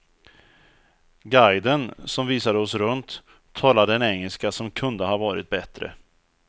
Guiden, som visade oss runt, talade en engelska som kunde ha varit bättre.